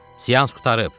Sians qurtarıb.